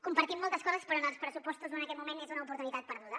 compartim moltes coses però en els pressupostos o en aquest moment és una oportunitat perduda